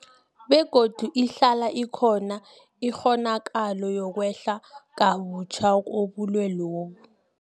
Begodu ihlala ikhona ikghonakalo yokwehla kabutjha kobulwelobu.